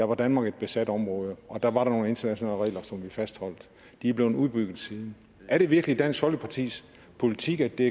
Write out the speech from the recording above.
var danmark et besat område og der var der nogle internationale regler som vi fastholdt de er blevet udbygget siden er det virkelig dansk folkepartis politik at det